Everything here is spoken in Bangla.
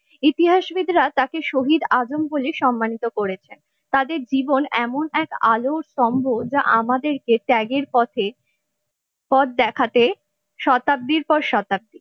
ইতিহাসবিদরা তাকে শহীদ আজম বলে সম্মানিত করেছেন তাদের জীবন এমন এক আলোর স্তম্ভ যা আমাদেরকে ত্যাগের পথে পথ দেখাতে শতাব্দীর পর শতাব্দী ।